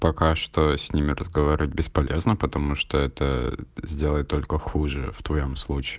пока что с ними разговаривать бесполезно потому что это сделает только хуже в твоём случае